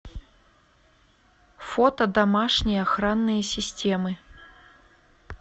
фото домашние охранные системы